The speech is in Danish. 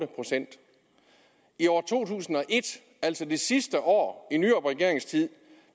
procent i år to tusind og et altså det sidste år i nyrupregeringens tid